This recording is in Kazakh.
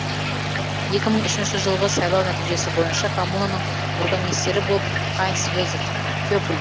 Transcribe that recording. екі мың үшінші жылғы сайлау нәтижесі бойынша коммунаның бургомистрі болып хайнц йозеф кеппль